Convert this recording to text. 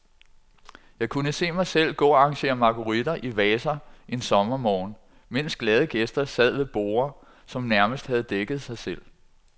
Jeg kunne se mig selv gå og arrangere marguritter i vaser en sommermorgen, mens glade gæster sad ved borde, som nærmest havde dækket sig selv.